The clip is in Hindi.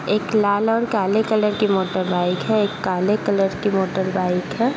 एक लाल और काले कलर की मोटर बाइक है। एक काले कलर की मोटर बाइक है।